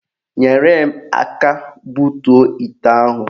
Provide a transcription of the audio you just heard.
Nyere m aka butuo ite ahụ